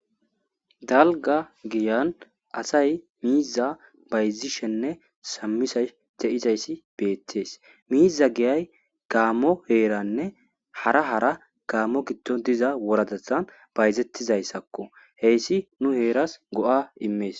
Dalga giyan asay miiza bayzishenne samisa te7izayssi beettees miiza giyay gaamo heeranne hara hara gaammo giddo diza woradathan bayzettizayssakko heyssi nu heeras go,a immees.